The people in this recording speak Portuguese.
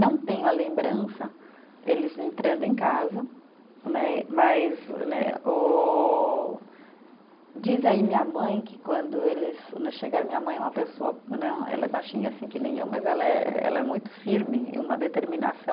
Não tenho a lembrança, eles entrando em casa né, mas né ô, diz aí minha mãe que quando eles né chegaram, minha mãe é uma pessoa né, ela é baixinha assim que nem eu, mas ela é, ela é muito firme, uma determinação.